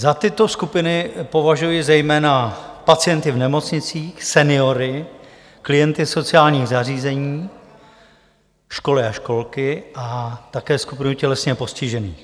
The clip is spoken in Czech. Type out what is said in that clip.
Za tyto skupiny považuji zejména pacienty v nemocnicích, seniory, klienty sociálních zařízení, školy a školky a také skupinu tělesně postižených.